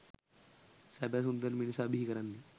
සැබෑ සුන්දර මිනිසා බිහි කරන්නේ